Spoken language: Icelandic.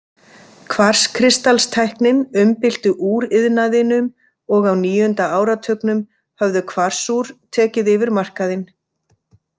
Kvarskristalstæknin umbylti úriðnaðinum og á níunda áratugnum höfðu kvarsúr tekið yfir markaðinn.